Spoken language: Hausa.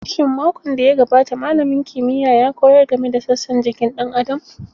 Shin makon da ya gabata malamin kimiyya ya koyar game da sassan jikin ɗan Adam?